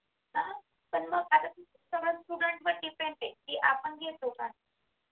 हा पण मग आता समज student वर depend आहे की आपण घेतो काय